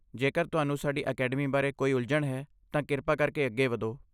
ਜੇਕਰ ਤੁਹਾਨੂੰ ਸਾਡੀ ਅਕੈਡਮੀ ਬਾਰੇ ਕੋਈ ਉਲਝਣ ਹੈ, ਤਾਂ ਕਿਰਪਾ ਕਰਕੇ ਅੱਗੇ ਵਧੋ।